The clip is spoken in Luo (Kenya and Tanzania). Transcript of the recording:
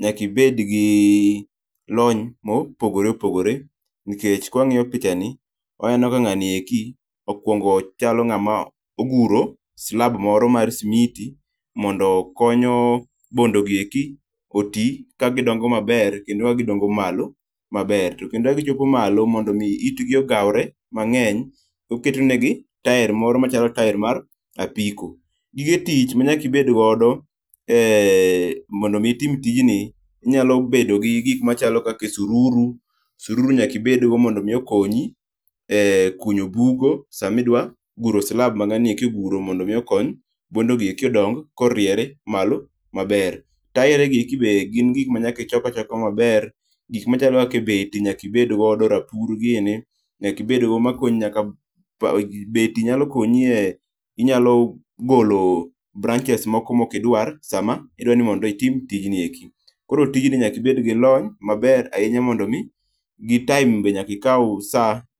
nyaka ibed gi lony mopogore opogore, nikech kawang'iyo picha ni , waneno ka ng'ani eki, okuongo chalo ng'ama oguro slab moro mar simiti, mondo konyo bondogieki oti, ka gidongo maber kendo ka gidongo malo maber. To kendo ka gichopo malo maber kendo kagichopo malo, mondo mi itgi ogawre mang'eny, oketonegi taer moro machalo taer mar apiko. Gigetich manyaka ibed godo eeh, mondo mi itim tijni, inyalo bedo gi gik machalo kaka siruru, siruru nyaka ibedgo mondo mi okonyi ekunyo bugo samidwa guro slab ma ng'ani oguro mondo omi okony bondogi eki odong koriere malo maber. Taeregi eki be gin gik manyaka ichok achoka maber, gik machalo kaka beti nyakibed godo, rapur gini nyakibed go manyalo konyi beti nyalo konyi eh inyalo golo branches moko mokidwar sama idwa ni mondo itim tijni eki. Koro tijni nyakibed gi lony maber ahinya mondo mi, gi time be nyakikaw sa.